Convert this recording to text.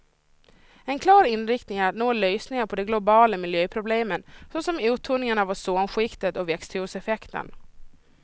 En klar inriktning är att nå lösningar på de globala miljöproblemen, såsom uttunningen av ozonskiktet och växthuseffekten.